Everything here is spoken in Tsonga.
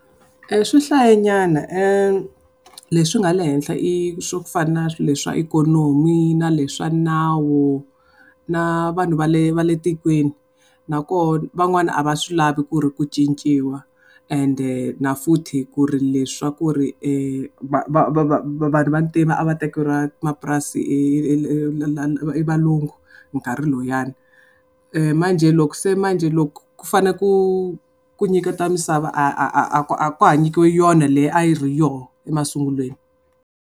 Swi hlaye nyana leswi nga le henhla i swo ku fana na swilo swa ikhonomi, na le swa nawu, na vanhu va le va le tikweni. Na koho van'wana a va swi lavi ku ri ku cinciwa ende na futhi ku ri le swa ku ri vanhu va ntima a va tekeriwa mapurasi hi valungu nkarhi luyani. Manjhe loko se manjhe loko ku fane ku ku nyiketiwa misava a a a a ka ha nyikiwi yona leyi a yi ri yoho emasungulweni.